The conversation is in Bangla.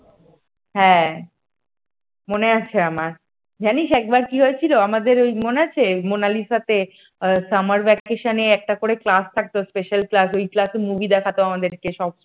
হ্যাঁ মনে আছে আমার জানিস একবার কি হয়েছিল আমাদের ওই মনে আছে মোনালিসা তে summer vacation একটা করে class থাকতো special class ওই class এ movie দেখা তো আমাদেরকে সব।